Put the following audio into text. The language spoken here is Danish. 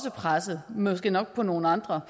presset måske nok på nogle andre